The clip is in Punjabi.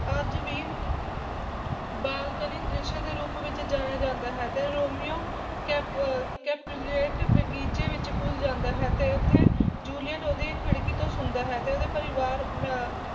ਅੱਜ ਵੀ ਬਾਲਕਨੀ ਦ੍ਰਿਸ਼ ਵਜੋਂ ਜਾਣਿਆ ਜਾਂਦਾ ਹੈ ਤੇ ਰੋਮੀਓ ਕੈਪੁ ਕੈਪੁਲੇਟ ਬਗੀਚੇ ਵਿੱਚ ਘੁਸ ਜਾਂਦਾ ਹੈ ਤੇ ਉੱਥੇ ਜੂਲੀਅਟ ਉਹਦੀ ਖਿੜਕੀ ਤੋਂ ਸੁਣਦਾ ਹੈ ਤੇ ਉਹਦੇ ਪਰਿਵਾਰ ਮਾ